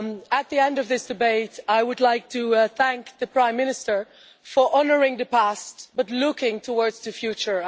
At the end of this debate, I would like to thank the Prime Minister for honouring the past but looking towards the future.